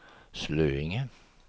Slöinge